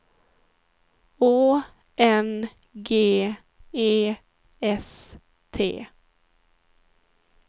Å N G E S T